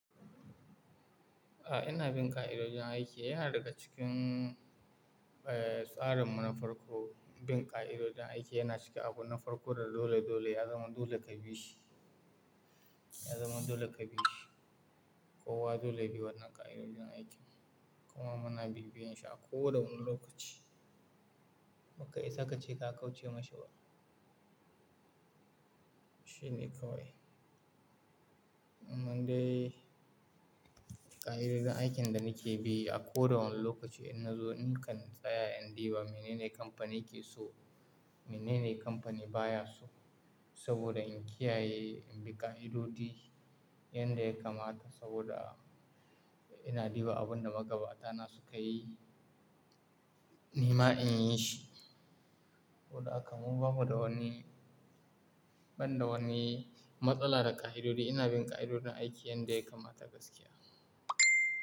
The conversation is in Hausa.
A ina bin ƙa'idojin aiki. Yana daga cikin, eh, tsarin mu na farko, bin ƙa'idojin aiki yana cikin abu na farko, da dole dole ya zama dole ka bi shi. Ya zama dole ka bi shi. Kowa dole ya bi wannan ƙa'idojin aikin kuma muna bibiyen shi a ko da wane lokaci. Baka isa ka ce ka kauce masa ba. Shi ne kawai. Nan dai ƙa'idojin aikin da nake bi a ko da wane lokaci. Ina zo nikan tsaya in diba menene kamfanin ke so, menene kamfani ba ya so. Saboda in kiyaye, in bi ƙa'idodi yan da ya kamata saboda ina diba abin da magabata na sukayi, ni ma in yi shi. Saboda haka mu bamu da wani, ban da wani matsala da ƙa'idodi. Ina bin ƙa'idodi na aiki yan da ya kamata gaskiya.